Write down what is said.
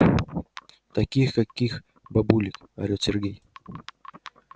таких каких бабулек орёт сергей